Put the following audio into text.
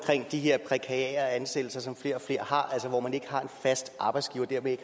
de her prekære ansættelser som flere og flere har altså hvor man ikke har en fast arbejdsgiver og dermed